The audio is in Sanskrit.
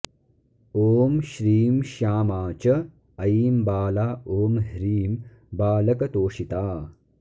ॐ श्रीं श्यामा च ऐं बाला ॐ ह्रीं बालकतोषिता